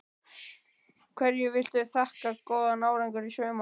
Hverju viltu þakka góðan árangur í sumar?